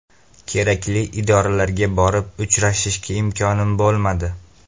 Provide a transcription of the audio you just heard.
Kerakli idoralarga borib uchrashishga imkonim bo‘lmadi.